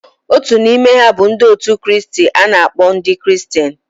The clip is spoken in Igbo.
Otu n'ime ha bụ ndị otu Kristi a na-akpọ ndị Kristian.